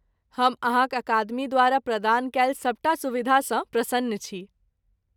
हम अहाँक अकादमी द्वारा प्रदान कयल सभटा सुविधासँ प्रसन्न छी।